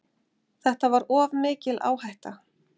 Þetta var of mikil áhætta.